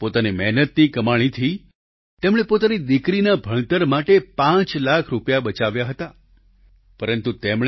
પોતાની મહેનતની કમાણીથી તેમણે પોતાની દિકરીના ભણતર માટે પાંચ લાખ રૂપિયા બચાવ્યા હતા પરંતુ તેમણે